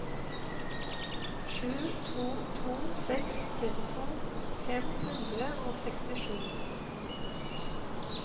sju to to seks trettito fem hundre og sekstisju